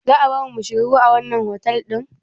Za a barmu mu shiga ruwa a wannan otal ɗin?